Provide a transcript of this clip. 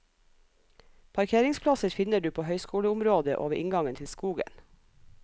Parkeringsplasser finner du på høyskoleområdet og ved inngangen til skogen.